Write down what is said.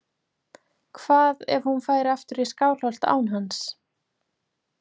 Hvað ef hún færi aftur í Skálholt án hans?